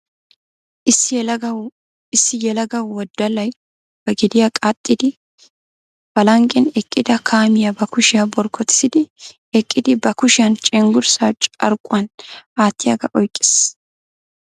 Issi yelaga wodallay ba gediya qaxxidi ba lanqqen eqqida kaamiya ba kushiya borkkotisidi eqqidi ba kushiyan cenggurssaa carkkuwan aattiygaa oyikkis.